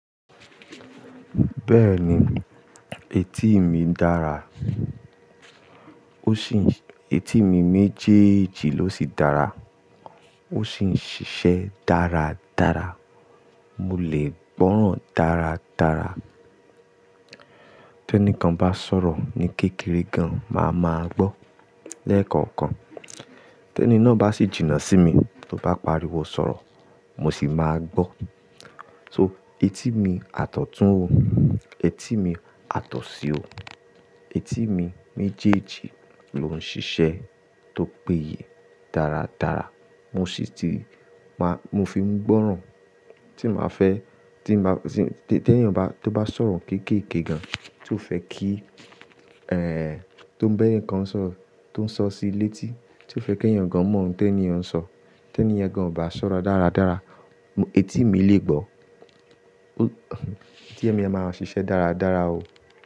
Bẹ́ẹ̀ni, etí mi dára. Ó sì ń-- etí mi méjèèjì ló sì dára. Ó sì ń ṣiṣẹ́ dáradára. Mo lè gbọ́ràn dáradára. Tẹ́nìkan bá sọ̀rọ̀ ní kékeré gan, màá ma gbọ́, lẹ́ẹ̀kọ̀kan. Tẹ́nì náà bá sì jìnnà sí mi, tó bá pariwo sọ̀rọ̀, mo sì máa gbọ́. So etí mi àtọ̀tún o, etí mi àtọ̀sí o. Etí mi méjèèjì ló ń ṣiṣẹ́ tó péye dáradára. Mo sì ti máa-- mo fi ń gbọ́ràn tí màá fẹ́, tí máa, tí, tẹ́nìyàn bá, tó bá sọ̀rọ̀ kéékèè gan, tí ó fẹ́ kí, ẹ́, tó ń bẹ́ẹ̀níkán sọ̀rọ̀, tó ń sọ sí létí, tí ó fẹ́ kí ènìyàn gan mọ ohun tí ẹni yàn ń sọ, tí ẹni yẹn gan ò bá sọ̀rọ̀ dáradára, etí mi lè gbọ́. Etí mi a máa ń ṣiṣẹ́ dáradára o.